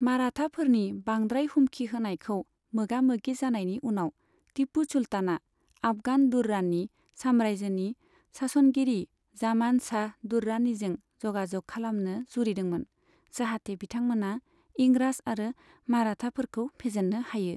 माराथाफोरनि बांद्राय हुमखि होनायखौ मोगामोगि जानायनि उनाव, तिपु सुल्तानआ आफगान दुर्रानि साम्रायजोनि सासनगिरि जामान शाह दुर्रानिजों जगा जग खालामनो जुरिदोंमोन, जाहाते बिथांमोना इंराज आरो माराथाफोरखौ फेजेननो हायो।